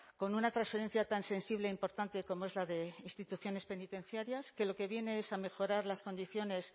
con una transferencia tan sensible e importante como es la de instituciones penitenciarias que lo que viene es a mejorar las condiciones